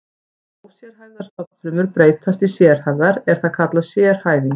Þegar ósérhæfðar stofnfrumur breytast í sérhæfðar er það kallað sérhæfing.